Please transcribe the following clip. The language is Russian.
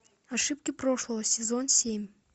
ошибки прошлого сезон семь